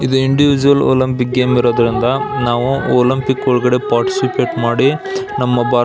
ಇದು individual Olympic game ಇರೋದ್ರಿಂದ ನಾವು ಒಲಂಪಿಕ್ ಒಳಗಡೆ ಪಾರ್ಟಿಷಿಪಟ್ ಮಾಡಿ ನಮ್ಮ ಭಾರತ್ --